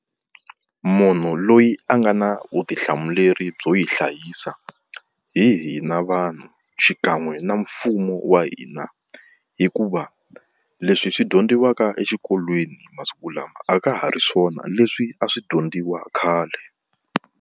Munhu loyi a nga na vutihlamuleri byo yi hlayisa hi hina vanhu xikan'we na mfumo wa hina, hikuva leswi swi dyondziwaka exikolweni masiku lama a ka ha ri swona leswi a swi dyondziwa khale.